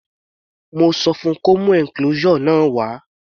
Mo sọ fun kó mú enclosure náà wá.